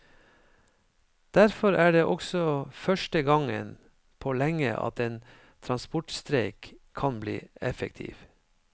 Derfor er det også første gangen på lenge at en transportstreik kan bli effektiv.